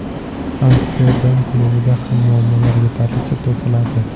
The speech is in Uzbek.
Amsterdam klubida ham muammolar yetarlicha topiladi.